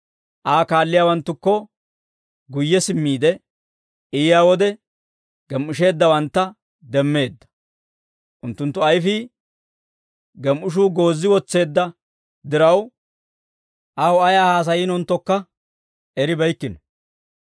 Aa kaalliyaawanttukko guyye simmiide I yiyaa wode, gem"isheeddawantta demmeedda; unttunttu ayfiyaa gem"ishuu goozi wotseedda diraw, aw ayaa haasayiinonttokka eribeykkino.